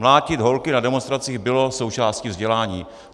Mlátit holky na demonstracích bylo součástí vzdělání.